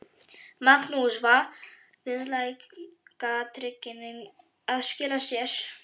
Magnús: Viðlagatryggingin að skila sér?